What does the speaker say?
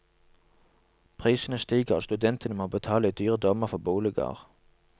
Prisene stiger, og studentene må betale i dyre dommer for boliger.